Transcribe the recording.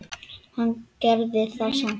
En hann gerir það samt.